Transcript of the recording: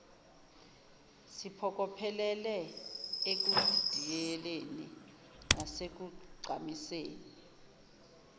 siphokophelele ekudidiyeleni nasekugqamiseni